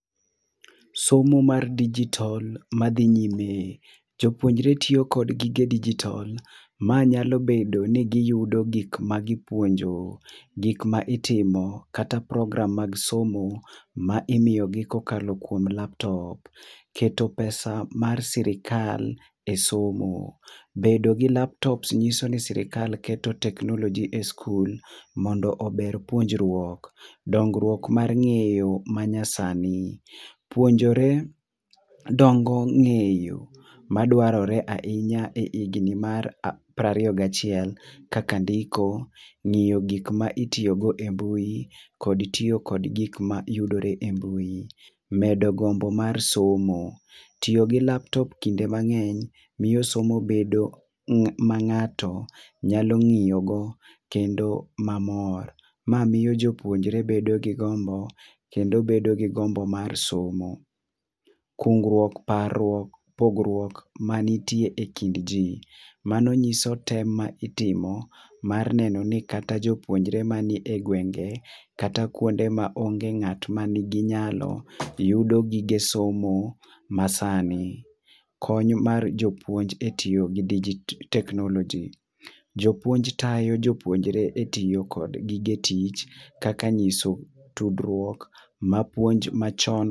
Somo mar digital ma dhi nyime, jopuonjre tiyo kod gige digital ma nya bedo ni gi yudo gik ma gi puonjo, gik ma itimo kata program mag somo ma imiyo gi ka okalo kuom laptop. Keto pesa mar sirkal e somo bedo gi laptops ng'iso ni sirkal keto teknoloji e skul mondo ober puonjrupok. dongruok mar ng'eyo ma nyasasni puonjore dongo ng'eyo ma dwarore ahinya e higni mar piero ariyo ga achiel kaka ndiko, ng'eyo gik ma timore e mbui kod tiyo kod gik ma yudore e mbui. Medo gombo mar somo, tiyo gi laptop kinde mangeny miyo somo bedo ma ng'ato nyalo ng'yo go kendo ma mor. Ma miyo jopuonjre bedo gi gombo, kendo bedo gi gombo mar somo. Kungruok, parruok ,pogruok ma ni e kind ji mano ng'iso tem ma itimo mar neno ni kata jopuonjre ma ni e gwenge kata kuonde ma onge ng'ato ma ni gi nyalo yudo gige somo ma sani kony mar jopuonje e tiyo gi digital teknoloji, jopuonjt tayo jopuonjre e tiiyo kod gige tich kaka ng'iso tudruok ma puonj ma cho.